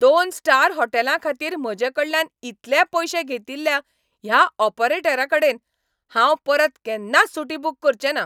दोन स्टार होटॅलाखातीर म्हजेकडल्यान इतले पयशे घेतिल्ल्या ह्या ऑपरेटराकडेन हांव परत केन्नाच सुटी बूक करचें ना.